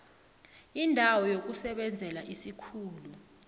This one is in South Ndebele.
indawo yokusebenzela isikhulu